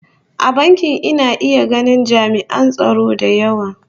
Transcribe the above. A bankin ina iya ganin ami'an tsaro da yawa